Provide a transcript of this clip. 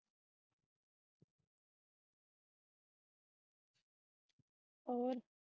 ਹੋਰ।